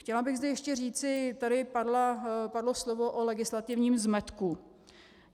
Chtěla bych zde ještě říci, tady padlo slovo o legislativním zmetku.